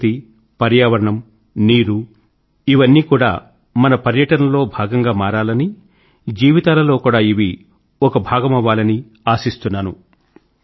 ప్రకృతి పర్యావరణ నీరు ఇవన్నీ కూడా మన పర్యటన లో భాగం గా మారాలని జీవితాల లో కూడా ఇవి ఒక భాగమవ్వాలని ఆశిస్తున్నాను